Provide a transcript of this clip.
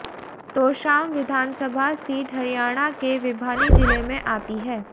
तोशाम विधानसभा सीट हरियाणाके भिवानी जिले में आती है